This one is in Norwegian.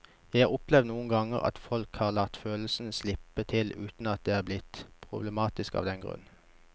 Jeg har opplevd noen ganger at folk har latt følelsene slippe til uten at det er blitt problematisk av den grunn.